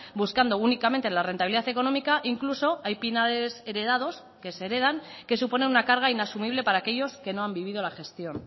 buscando únicamente la rentabilidad económica incluso hay pinares heredados que se heredan que supone una carga inasumible para aquellos que no han vivido la gestión